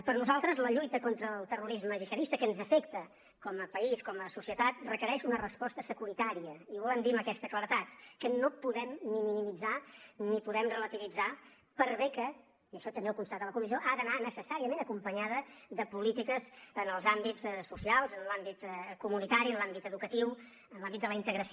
per nosaltres la lluita contra el terrorisme gihadista que ens afecta com a país com a societat requereix una resposta securitària i ho volem dir amb aquesta claredat que no podem ni minimitzar ni podem relativitzar per bé que i això també ho constata la comissió ha d’anar necessàriament acompanyada de polítiques en els àmbits socials en l’àmbit comunitari en l’àmbit educatiu en l’àmbit de la integració